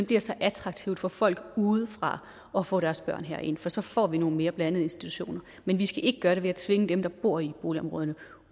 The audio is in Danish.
bliver så attraktivt for folk udefra at få deres børn herind for så får vi nogle mere blandede institutioner men vi skal ikke gøre det ved at tvinge dem der bor i boligområderne